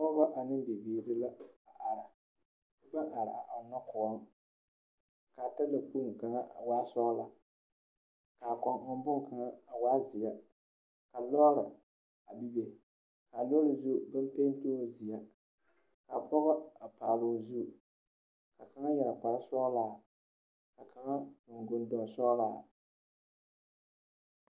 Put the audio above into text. Pͻgͻ ane bibiiril la a are ba are a ͻnnͻ kõͻŋ. Kaa talakpoŋ kaŋa waa la sͻͻla, ka a kͻŋ ͻŋ bone kaŋa a waa zeԑ. Ka lͻͻre a bebe, ka a lͻԑ zu baŋ sԑge sԑge zeԑ. Ka pͻgͻ a paaloo zu, ka kaŋa yԑre kpare sͻgelaa, ka kaŋa yԑre gondonsͻgelaa.